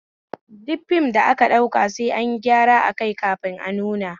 Duk fim da aka ɗauka sai ayin gyara akai kafin a nuna